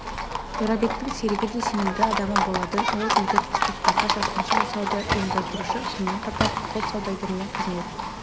жорабектің серігі де сенімді адамы болатын ол бейбіт қыстақтарға шапқыншылық жасауды ұйымдастырушы сонымен қатар құл саудагеріне қызмет